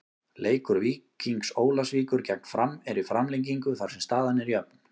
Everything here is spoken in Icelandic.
Leikur Víkings Ólafsvíkur gegn Fram er í framlengingu þar sem staðan er jöfn.